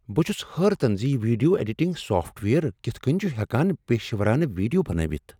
بہٕ چُھس حٲرتن زِ یہ ویڈیو ایڈیٹنگ سافٹ ویئر کتھ کٔنہِ چھ ہؠکان پیشورانہٕ ویڈیو بنٲوتھ ۔